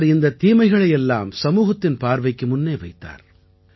அவர் இந்தத் தீமைகளை எல்லாம் சமூகத்தின் பார்வைக்கு முன்னே வைத்தார்